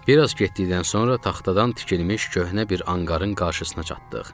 Biraz getdikdən sonra taxtadan tikilmiş köhnə bir anqarın qarşısına çatdıq.